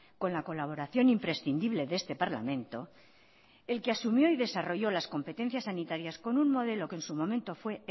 con la colaboración imprescindible de este parlamento el que asumió y desarrollo las competencias sanitarias con un modelo que en su momento fue